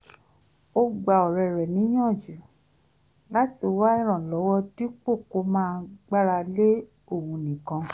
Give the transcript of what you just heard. ó gba ọ̀rẹ́ rẹ̀ níyànjú láti wá ìrànlọ́wọ́ dípò kó máa gbára lé òun nìkan